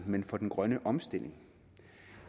men for den grønne omstilling